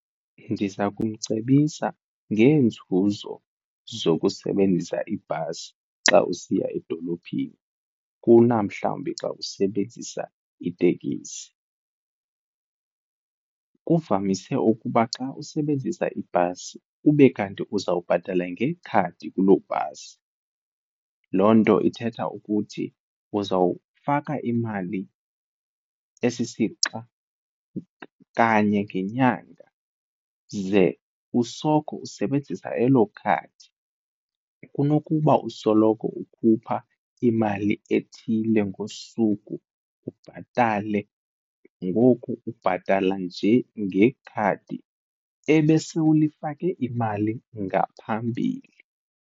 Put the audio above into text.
Ndiza kumcebisa ngeenzuzo zokusebenzisa ibhasi xa usiya edolophini kuna mhlawumbi xa usebenzisa itekisi. Kuvamise ukuba xa usebenzisa ibhasi ube kanti uzawubhatala ngekhadi kuloo bhasi, loo nto ithetha ukuthi uzawufaka imali esisixa kanye ngenyanga ze usoko usebenzisa elo khadi kunokuba usoloko ukhupha imali ethile ngosuku ubhatale, ngoku ubhatala nje ngekhadi ebesele ulifake imali ngaphambili.